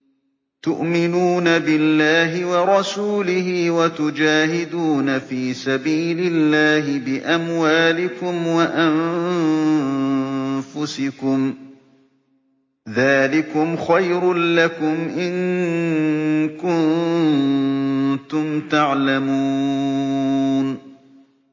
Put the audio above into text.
تُؤْمِنُونَ بِاللَّهِ وَرَسُولِهِ وَتُجَاهِدُونَ فِي سَبِيلِ اللَّهِ بِأَمْوَالِكُمْ وَأَنفُسِكُمْ ۚ ذَٰلِكُمْ خَيْرٌ لَّكُمْ إِن كُنتُمْ تَعْلَمُونَ